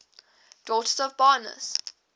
daughters of barons